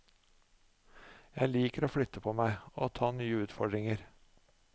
Jeg liker å flytte på meg og ta nye utfordringer.